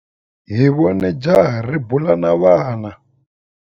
Hi vone jaha ri bula na vana.